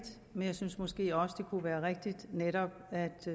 men jeg synes måske også at det kunne være rigtigt netop at